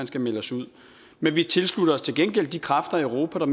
skal melde os ud men vi tilslutter os til gengæld de kræfter i europa der